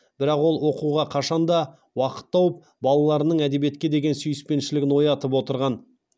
бірақ ол оқуға қашан да уақыт тауып балаларының әдебиетке деген сүйіспеншілігін оятып отырған